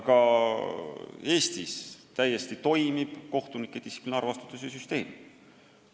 Ka Eestis täiesti toimib kohtunike distsiplinaarvastutuse süsteem.